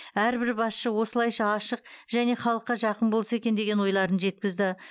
әрбір басшы осылайша ашық және халыққа жақын болса екен деген ойларын жеткізді